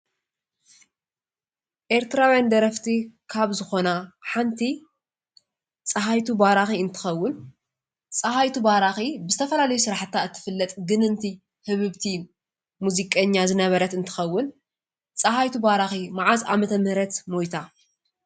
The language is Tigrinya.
ኤርትራዊያን ደረፍቲ ካብ ዝኮና ሓቲ ፃሃይቱ ባራኪ እንትከዉን ፃሃይቱ ባራኪ ብዝተፋላለዩ ሰራሓታ እትፍለጥ ግንንቲ ህብብቲ ሙዝቀኛ ዝነበረት እትከዉን ፃሃቱ ባራኪ ማዓዝ ዓ/ም ሞይታ?